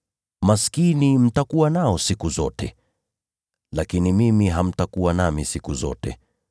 Maskini mtakuwa nao siku zote, lakini mimi hamtakuwa nami siku zote.